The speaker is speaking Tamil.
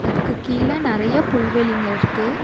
அதுக்கு கீழ நெறையா புல்வெளிங்க இருக்கு.